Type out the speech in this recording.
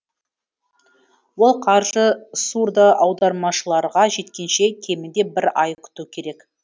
ол қаржы сурдоаудармашыларға жеткенше кемінде бір ай күту керек